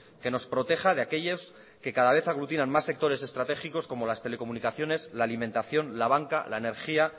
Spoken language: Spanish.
que nos proteja de aquellos que cada vez aglutinan más sectores estratégicos como las telecomunicaciones la alimentación la banca la energía